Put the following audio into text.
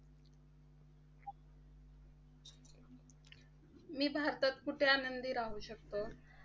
मी भारतात कुठे आनंदी राहू शकतो?